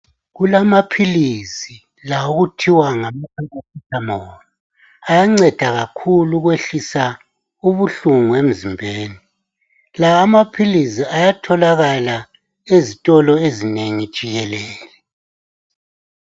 Kulamaphilisi la okuthiwa ngama Paracethamoli, ayanceda kakhulu ukwehlisa ubuhlungu emzimbeni. Lawa maphilisi ayatholakala ezitolo ezinengi jikelele.